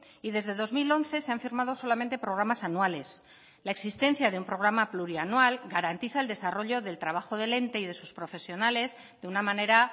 y desde dos mil once se han firmado solamente programas anuales la existencia de un programa plurianual garantiza el desarrollo del trabajo del ente y de sus profesionales de una manera